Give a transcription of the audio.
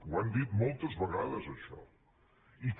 ho han dit moltes vegades això i que